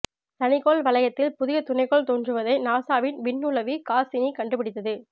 சனிக்கோள் வளையத்தில் புதிய துணைக்கோள் தோன்றுவதை நாசாவின் விண்ணுளவி காஸ்ஸினி கண்டுபிடித்தது